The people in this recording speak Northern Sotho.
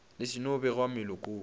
le se no begwa melokong